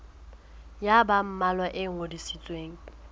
ya ba mmalwa e ngodisitsweng